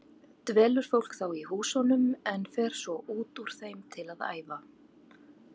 Dvelur fólk þá í húsunum en fer svo út úr þeim til að æfa.